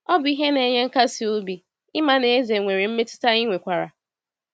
Ọ bụ ihe na-enye nkasi obi ịma na Eze nwere mmetụta anyị nwekwara!